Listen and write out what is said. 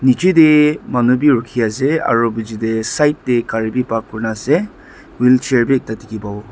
nichae tae manu bi rukhiase aro bichae tae side tae gari bi park kurinaase wheelchair bi ekta dikhipawo.